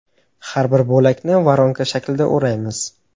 Har bir bo‘lakni voronka shaklida o‘raymiz.